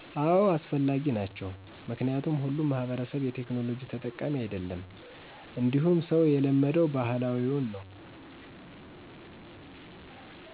አዎ አስፈላጊ ናቸው ምክንያቱም ሁሉም ማህበረሰብ የቴክናሎጂ ተጠቃሚ አይደለም እንዲሁም ሰው የለመደው ባህላዊውን ነው።